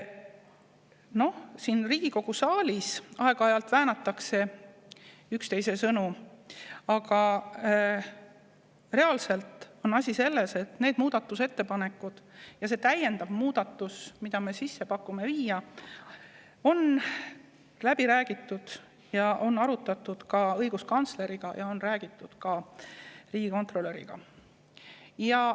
Noh, siin Riigikogu saalis aeg-ajalt väänatakse üksteise sõnu, aga reaalselt on asi selles, et neid muudatusettepanekuid ja seda täiendavat muudatust, mida me pakume, et võiks sisse viia, on arutatud õiguskantsleriga ja on läbi räägitud ka riigikontrolöriga.